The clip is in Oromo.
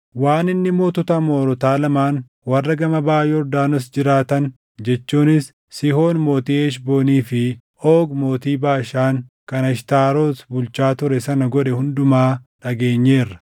waan inni mootota Amoorotaa lamaan warra gama baʼa Yordaanos jiraatan jechuunis Sihoon mootii Heshboonii fi Oogi mootii Baashaan kan Ashtaaroti bulchaa ture sana godhe hundumaa dhageenyeerra.